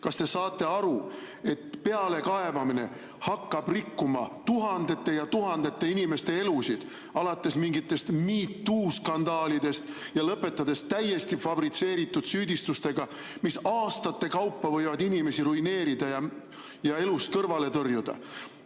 Kas te saate aru, et pealekaebamine hakkab rikkuma tuhandete ja tuhandete inimeste elusid alates mingitest MeToo skandaalidest ja lõpetades täiesti fabritseeritud süüdistustega, mis aastate kaupa võivad inimesi ruineerida ja elust kõrvale tõrjuda?